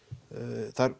það